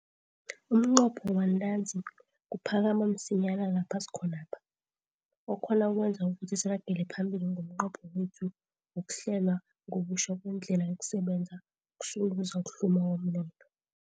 Umnqopho wantanzi kuphakama msinyana lapha sikhonapha, okhona kwenza ukuthi siragele phambili ngomnqopho wethu wokuhlelwa ngobutjha kwendlela yokusebenza okusunduza ukuhluma komnotho.